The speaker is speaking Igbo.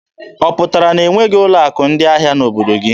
Ọ pụtara na e nweghị ụlọ akụ ndị ahịa n'obodo gị.